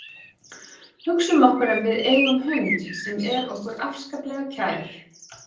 Hugsum okkur að við eigum hund sem er okkur afskaplega kær.